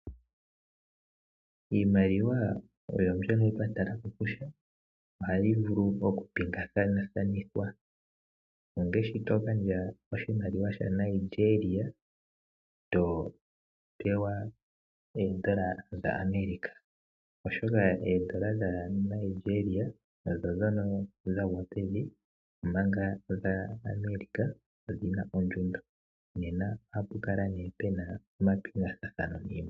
Iimaliwa ohayi vuli okupingakanithwa ngaashi togandja oshimaliwa shaNigeria topewa oondola dhaAmerica. Oshoka oondola dhaNigeria odhagwa pevi omanga dhaAmerica ondhina ondjundo nena ohapu kala pena omapingathanitho.